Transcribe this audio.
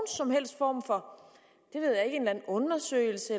som helst form for undersøgelse